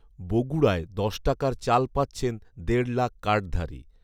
বগুড়ায় দশ টাকার চাল পাচ্ছেন দেড় লাখ কার্ডধারী